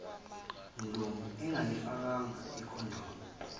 mlungu engakayifakanga icondom